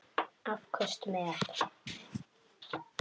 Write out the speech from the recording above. Afköst með